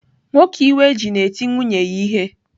Nwoke iwe ji na-eti nwunye ya ihe.